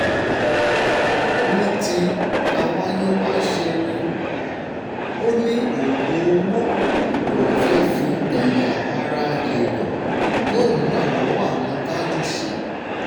ní ti àwáyéwàṣeré ó ní oògùn owó lòún fẹ́ẹ́ fi ẹ̀yà-ara èèyàn tóun rà lọ́wọ́ àwọn tájú ṣe